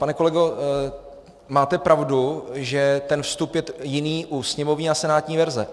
Pane kolego, máte pravdu, že ten vstup je jiný u sněmovní a senátní verze.